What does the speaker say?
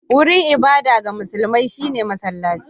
Wurin ibada ga musulmai shi ne masallaci